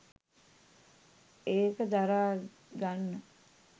ඒක දරාගන්න